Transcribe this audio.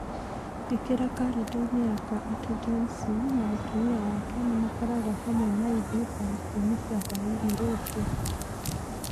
ĩkĩra kalendarĩ-inĩ yakwa atĩ John C. na mũtumia wake nĩ makoragwo hamwe na ithuĩ thaa ikũmi cia hwaĩ-inĩ rũciũ.